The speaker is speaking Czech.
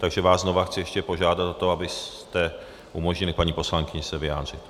Takže vás znova chci ještě požádat o to, abyste umožnili paní poslankyni se vyjádřit.